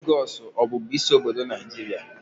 Lagos ọ bụbu isi obodo Naijiria?